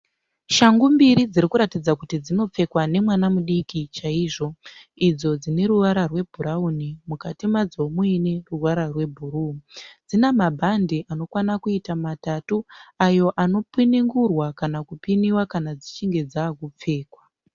Shangu mbiri dziri kuratidza kuri dzinopfekwa nemwana mudiki chaizvo. Idzo dzine ruvara rwebhurauni mukati madzo muine ruvara rwebhuru. Dzina mabhande matatu anopenengurwa kana kupina kana dzave kupfekwa.